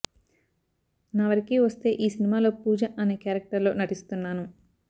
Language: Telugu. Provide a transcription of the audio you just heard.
నా వరికి వస్తే ఈ సినిమాలో పూజ అనే క్యారెక్టర్ లో నటిస్తున్నాను